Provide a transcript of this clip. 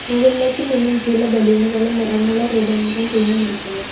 മുകളിലേക്ക് നിന്നും ചില ബലൂണുകളും നിറമുള്ള റിബണുകളും തൂങ്ങി നിൽക്കുന്നു.